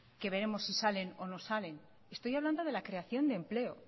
que veremos si salen o no salen estoy hablando de la creación de empleo